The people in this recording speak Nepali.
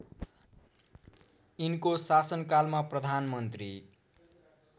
यिनको शासनकालमा प्रधानमन्त्री